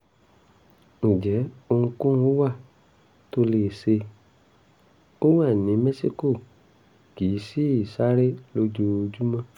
ǹjẹ́ ohunkóhun wà tó lè ṣe? ó wà ní mẹ́síkò kì í sì sáré lójoojúmọ́